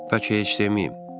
"Bəlkə heç deməyim."